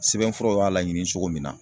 Sɛbɛnfuraw y'a laɲini cogo min na